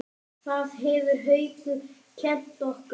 Það hefur Haukur kennt okkur.